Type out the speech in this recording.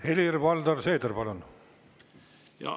Helir-Valdor Seeder, palun!